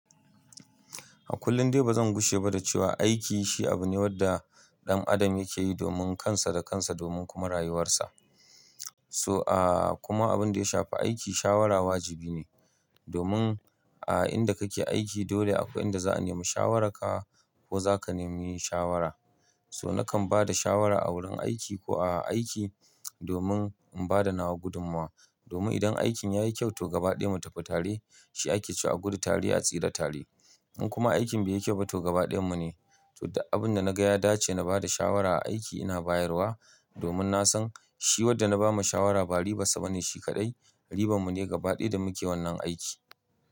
A kullum dai ba zan gushe ba da cewa aiki shi abu ne wanda ɗan adam yake yi domin kansa da kansa domin kuma rayuwarsa. So aaaa kuma abin da ya shafi aiki shawara wajibi ne domin a inda kake aiki dole akwai inda za'a nemi shawararka ko zaka nemi shawara. So nakan ba da shawara a wurin aiki ko a aiki domin in bada nawa gudumwa. Domin idan aikin yayi kyau to gaba ɗaya mu tafi tare shi ake cewa a gudu tare a tsira tare. In kuma aikin bai yi kyau ba to gaba ɗayan mu ne. To duk abin da naga ya dace na bada shawara a aiki ina bayarwa domin nasan shi wadda na ba ma shawara ba ribar sa ba ne shi kaɗai. Riban mu ne gaba ɗaya da muke wannan aiki.